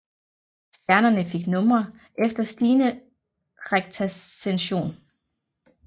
Stjernerne fik numre efter stigende rektascension